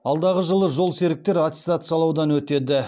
алдағы жылы жолсеріктер аттестациялаудан өтеді